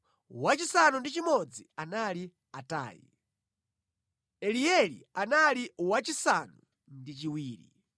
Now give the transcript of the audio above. wachisanu ndi chimodzi anali Atai, Elieli anali wachisanu ndi chiwiri,